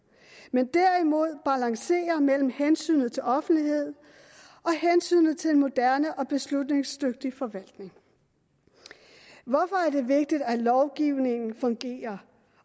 men vil derimod balancere mellem hensynet til offentlighed og hensynet til en moderne og beslutningsdygtig forvaltning hvorfor er det vigtigt at lovgivningen fungerer